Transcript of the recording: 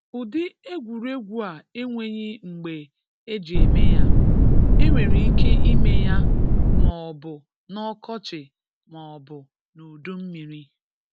Ụdị egwurgwu a enweghi mgbe e ji eme ya, e nwereike ime ya ma ọ bụ n’ọkọchị ma ọ bụ n’udummiri.